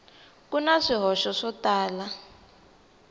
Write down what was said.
ku na swihoxo swo tala